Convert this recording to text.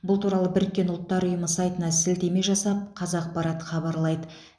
бұл туралы біріккен ұлттар ұйымы сайтына сілтеме жасап қазақпарат хабарлайды